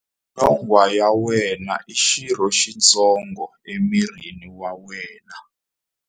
Nyonghwa ya wena i xirho xitsongo emirini wa wena.